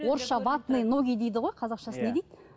орысша ватные ноги дейді ғой қазақшасын не дейді